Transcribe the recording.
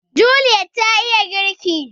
Juliet ta iya girki